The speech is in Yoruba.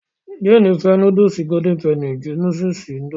Jéènì fẹ́ núdùsì golden penny sí núdùsì indomie